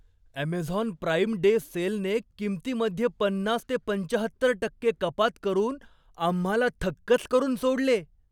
Amazon Prime Day सेलने किमतीमध्ये पन्नास ते पंच्याहत्तर टक्के कपात करून आम्हाला थक्कच करून सोडले.